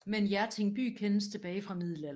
Men Hjerting by kendes tilbage fra middelalderen